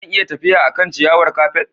Zan iya tafiya a kan ciyawar kafet?